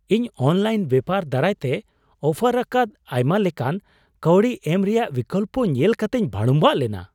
ᱤᱧ ᱚᱱᱞᱟᱭᱤᱱᱛᱮ ᱵᱮᱯᱟᱨ ᱫᱟᱨᱟᱭᱛᱮ ᱚᱯᱷᱟᱨ ᱟᱠᱟᱫ ᱟᱭᱢᱟᱞᱮᱠᱟᱱ ᱠᱟᱹᱣᱰᱤ ᱮᱢ ᱨᱮᱭᱟᱜ ᱵᱤᱠᱚᱞᱯᱚ ᱧᱮᱞ ᱠᱟᱛᱤᱧ ᱵᱷᱟᱹᱲᱩᱢᱵᱷᱟᱜ ᱞᱮᱱᱟ ᱾